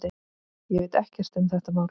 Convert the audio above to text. Ég veit ekkert um þetta mál.